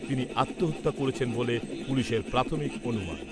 তিনি আত্মহত্যা করেছেন বলে পুলিশের প্রাথমিক অনুমান।